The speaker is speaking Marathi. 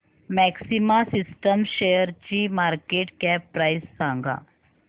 मॅक्सिमा सिस्टम्स शेअरची मार्केट कॅप प्राइस सांगा